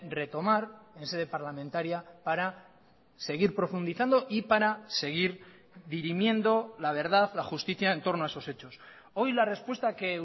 retomar en sede parlamentaria para seguir profundizando y para seguir dirimiendo la verdad la justicia en torno a esos hechos hoy la respuesta que